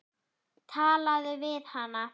Talaðu við hana.